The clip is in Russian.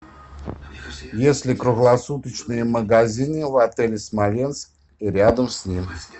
есть ли круглосуточные магазины в отеле смоленск и рядом с ним